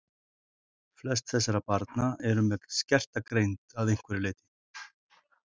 Flest þessara barna eru með skerta greind að einhverju leyti.